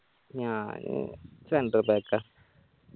ഞാന് centre back ആ